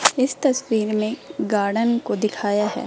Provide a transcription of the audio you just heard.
इस तस्वीर में गार्डन को दिखाया है।